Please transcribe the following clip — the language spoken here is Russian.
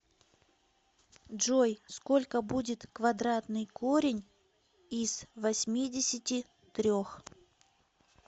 джой сколько будет квадратный корень из восьмидесяти трех